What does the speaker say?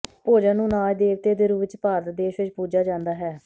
ਭੋਜਨ ਨੂੰ ਅਨਾਜ ਦੇਵਤੇ ਦੇ ਰੂਪ ਵਿੱਚ ਭਾਰਤ ਦੇਸ਼ ਵਿੱਚ ਪੂਜਾ ਜਾਂਦਾ ਹੈ